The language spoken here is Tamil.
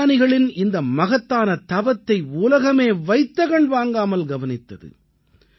விஞ்ஞானிகளின் இந்த மகத்தான தவத்தை உலகமே வைத்த கண் வாங்காமல் கவனித்தது